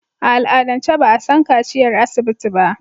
A al'adance ba a san kaciyar asibiti ba.